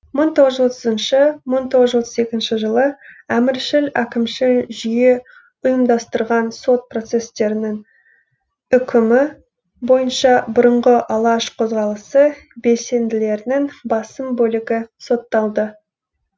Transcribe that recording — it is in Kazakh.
мың тоғыз жүз отызыншы мың тоғыз жүз отыз екінші жылы әміршіл әкімшіл жүйе ұйымдастырған сот процестерінің үкімі бойынша бұрынғы алаш қозғалысы белсенділерінің басым бөлігі сотталды